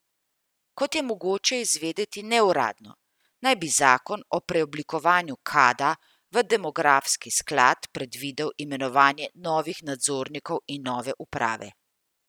Kot je mogoče izvedeti neuradno, naj bi zakon ob preoblikovanju Kada v demografski sklad predvidel imenovanje novih nadzornikov in nove uprave.